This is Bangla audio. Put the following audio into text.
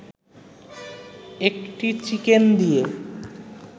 একটি চিকেন দিয়ে